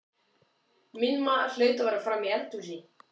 Minn maður hlaut að vera frammi í eldhúsi.